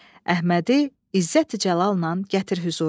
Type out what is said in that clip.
Əhmədi izzət-i cəlalnan gətir hüzura.